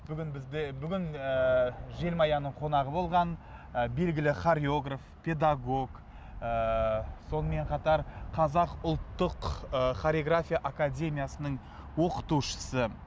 бүгін бізде бүгін ыыы желмаяның қонағы болған ы белгілі хореограф педагог ыыы сонымен қатар қазақ ұлттық ы хореография академиясының оқытушысы